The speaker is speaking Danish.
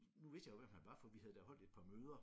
Nu vidste jeg jo hvem han var for vi havde da holdt et par møder